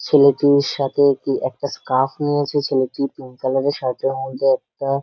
ছেলেটির সাথে একটি স্কাফ নিয়েছে। ছেলেটি পিঙ্ক কালার -এর সব ধরনের একটা।